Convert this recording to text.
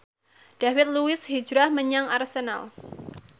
David Luiz hijrah menyang Arsenal